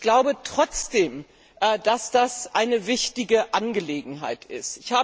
Ich glaube trotzdem, dass das eine wichtige Angelegenheit